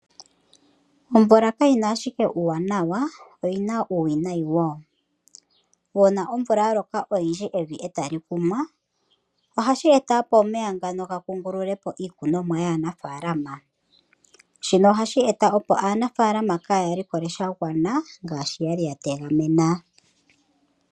Omvula kayina ashike uuwanawa, oyina uuwinayi wo. Uuna omvula ya loka unene evi etali kunwa, ohashi eta opo omeya ga kungulule po iikunomwa yaanafaalama. Shika ohashi eta opo aanafaalama kaaya likole sha gwana, kwaashoka yali ya tegamena.